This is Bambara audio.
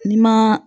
N'i ma